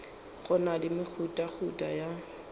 go na le mehutahuta ya